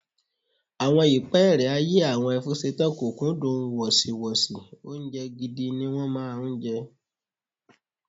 Àwọn ìpẹ́ẹ́rẹ́ ayé àwọn Ẹfúnṣetán kò kúndùn wọ̀sìwọ́sì, oúnjẹ gidi ni wọ́n máa ń jẹ.